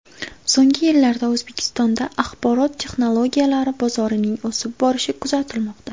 So‘nggi yillarda O‘zbekistonda axborot texnologiyalari bozorining o‘sib borishi kuzatilmoqda.